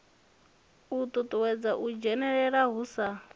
uuwedza u dzhenelela hu sa